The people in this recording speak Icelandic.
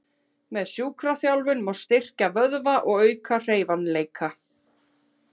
Með sjúkraþjálfun má styrkja vöðva og auka hreyfanleika.